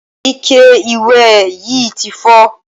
Ike ìwẹ̀ yí ti fọ́.